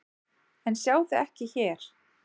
En sjá þig ekki hér.